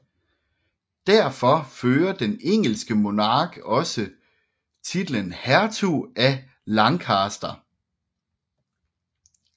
Derfor fører den engelske monark også titlen Hertug af Lancaster